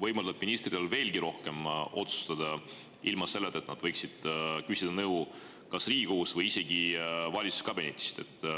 võimaldab ministritel veelgi rohkem otsustada ilma selleta, et nad küsiksid nõu kas Riigikogust või isegi valitsuskabinetist.